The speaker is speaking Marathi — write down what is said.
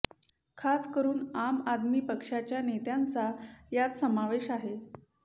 खास करून आम आदमी पक्षाच्या नेत्यांचा यात समावेश आहे